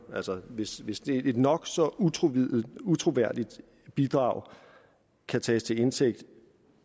altså hvis hvis et nok så utroværdigt utroværdigt bidrag kan tages til indtægt